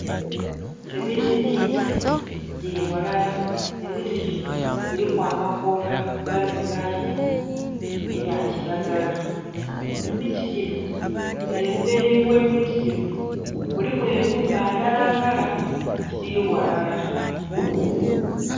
Emiti mingi gili ghalala, emiti ginho giliku amakoola agali mu langi eya kilagala. Emiti ginho emberi ghe miti ginho mulimu enhumba ndhala ndhala tidhili ghalala.